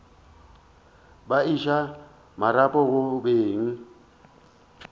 ba iša marapo go beng